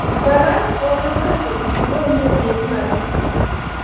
Faras konyo ng'ato kik donj e liet mar thim.